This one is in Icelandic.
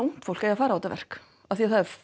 ungt fólk eigi að fara á þetta verk af því að það er